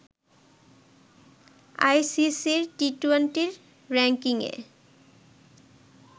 আইসিসির টি-টোয়েন্টির র‌্যাঙ্কিংয়ে